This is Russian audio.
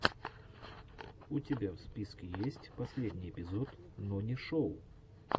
у тебя в списке есть последний эпизод нонишоу